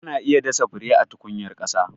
Ana iya dasa fure a tukunyar ƙasa.